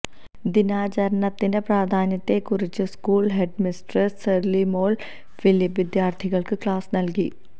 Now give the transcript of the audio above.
ദിനാചരണത്തിന്റെ പ്രാധാന്യത്തെക്കുറിച്ച് school headmistress Sherlymol Philip വിദ്യാർഥികൾക്ക് ക്ലാസ് നൽകി